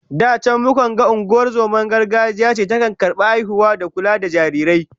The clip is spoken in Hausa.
Da can mukan ga ungozomar gargajiya ce ke karbar haihuwa da kula da jarirai